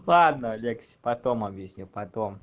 ладно алексей потом объясню потом